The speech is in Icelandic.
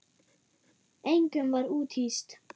Engum var úthýst.